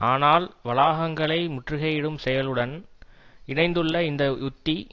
ஆனால் வளாகங்களை முற்றுகையிடும் செயலுடன் இணைந்துள்ள இந்த உத்தி